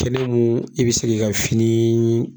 Kɛnɛ mun i be sek'i ka finii